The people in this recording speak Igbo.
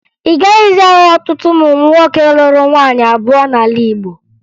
Ị gaghịzị ahụ ọtụtụ ụmụ nwoke lụrụ nwaanyị abụọ n'ala Igbo